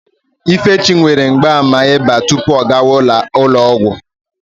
Ifechi nwere mgbaàmà ịba tupu ọ gawa ụlọ ọgwụ.